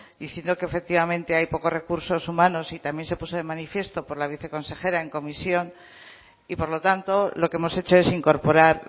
diciendo que efectivamente hay pocos recursos humanos y también se puso de manifiesto por la viceconsejera en comisión y por lo tanto lo que hemos hecho es incorporar